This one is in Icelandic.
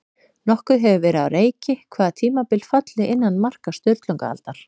Nokkuð hefur verið á reiki hvaða tímabil falli innan marka Sturlungaaldar.